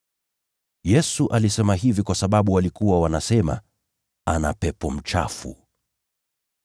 Yesu alisema hivi kwa sababu walikuwa wanasema, “Ana pepo mchafu.”